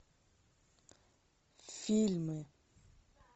фильмы